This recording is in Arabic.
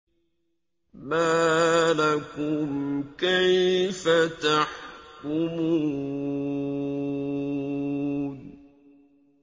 مَا لَكُمْ كَيْفَ تَحْكُمُونَ